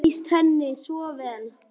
Þetta lýsir henni svo vel.